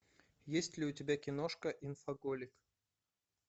есть ли у тебя киношка инфоголик